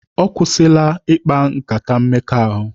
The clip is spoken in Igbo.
Ọ kwụsịla ịkpa nkata mmekọahụ.